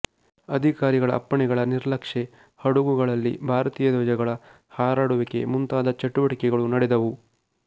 ಅಧಿಕಾರಿಗಳ ಅಪ್ಪಣೆಗಳ ನಿರ್ಲಕ್ಷೆ ಹಡಗುಗಳಲ್ಲಿ ಭಾರತೀಯ ಧ್ವಜಗಳ ಹಾರಾಡುವಿಕೆ ಮುಂತಾದ ಚಟುವಟಿಕೆಗಳು ನಡೆದವು